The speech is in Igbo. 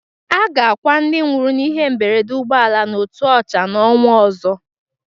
A ga-akwa ndị nwụrụ n'ihe mberede ụgbọala n'Otuocha n'onwa ọzọ.